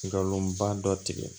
Nkalonba dɔ tigɛ